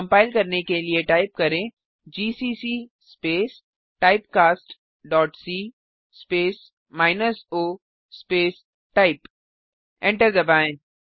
compile करने के लिए टाइप करें GCC space typecast dot C space minus O space type enter दबाएँ